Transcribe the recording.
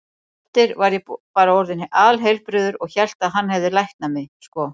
Á eftir var ég bara orðinn alheilbrigður og hélt að hann hefði læknað mig, sko.